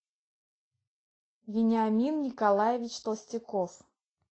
вениамин николаевич толстяков